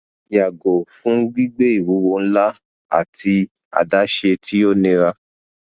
yago fun gbigbe iwuwo nla ati adaṣe ti o nira